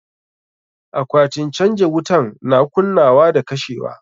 Akwatin canja wutan na kunnawa da kashewa.